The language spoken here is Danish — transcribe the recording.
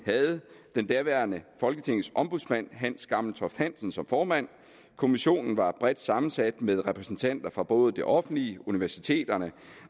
havde daværende ombudsmand for hans gammeltoft hansen som formand kommissionen var bredt sammensat med repræsentanter for både det offentlige universiteterne